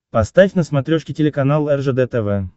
поставь на смотрешке телеканал ржд тв